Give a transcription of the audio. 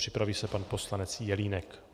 Připraví se pan poslance Jelínek.